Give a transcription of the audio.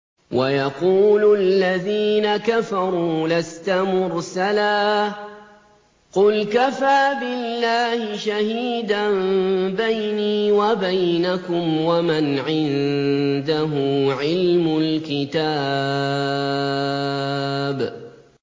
وَيَقُولُ الَّذِينَ كَفَرُوا لَسْتَ مُرْسَلًا ۚ قُلْ كَفَىٰ بِاللَّهِ شَهِيدًا بَيْنِي وَبَيْنَكُمْ وَمَنْ عِندَهُ عِلْمُ الْكِتَابِ